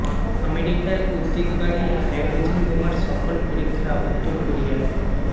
আমেরিকার উদ্বেগ বাড়িয়ে হাইড্রোজেন বোমার সফল পরীক্ষা উত্তর কোরিয়ায়